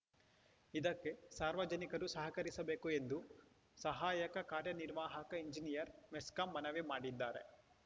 ಇದಕ್ಕೆ ಸಾರ್ವಜನಿಕರು ಸಹಕರಿಸಬೇಕು ಎಂದು ಸಹಾಯಕ ಕಾರ್ಯನಿರ್ವಾಹಕ ಇಂಜಿನಿಯರ್‌ ಮೆಸ್ಕಾಂ ಮನವಿ ಮಾಡಿದ್ದಾರೆ